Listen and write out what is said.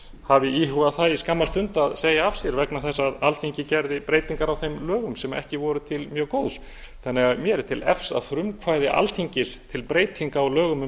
hafi íhugað það í skamma stund að segja af sér vegna þess að alþingi gerði breytingar á þeim lögum sem ekki voru til mjög góðs mér er því til efs að frumkvæði alþingis til breytinga á lögum um